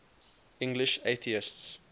english atheists